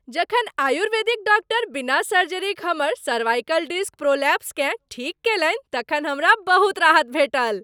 जखन आयुर्वेदिक डॉक्टर बिना सर्जरीक हमर सर्वाइकल डिस्क प्रोलैप्सकेँ ठीक कयलनि तखन हमरा बहुत राहत भेटल।